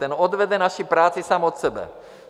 Ten odvede naši práci sám od sebe.